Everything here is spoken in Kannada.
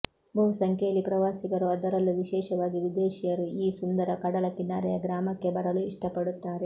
ಬಹು ಸಂಖ್ಯೆಯಲ್ಲಿ ಪ್ರವಾಸಿಗರು ಅದರಲ್ಲೂ ವಿಶೇಷವಾಗಿ ವಿದೇಶಿಯರು ಈ ಸುಂದರ ಕಡಲ ಕಿನಾರೆಯ ಗ್ರಾಮಕ್ಕೆ ಬರಲು ಇಷ್ಟಪಡುತ್ತಾರೆ